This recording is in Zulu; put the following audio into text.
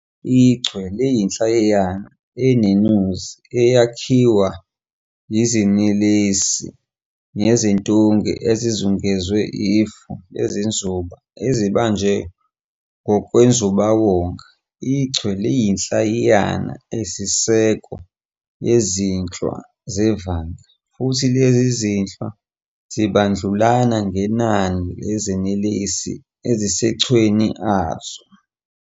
IChwe liyinhlayiyana eneNuzi eyakhiwa iziNelesi neziNtunge ezizungezwe ifu leziNzuba ezibanjwe ngokwenzubawonga. IChwe liyinhlayiyana eyisiseko yezinhlwa zevanga, futhi lezo zinhlwa zibandlulana ngenani leziNelesi ezisemachweni azo.